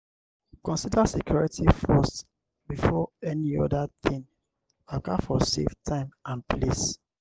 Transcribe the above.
conider security forst before any oda thing waka for safe time and place